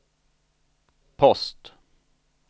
post